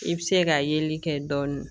I bɛ se ka yeli kɛ dɔɔnin